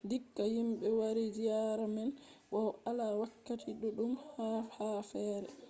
dikka himɓe wari ziyaara man bow ala wakkati ɗuɗɗum yaha ha fere